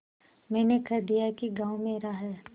मैंने कह दिया कि गॉँव मेरा है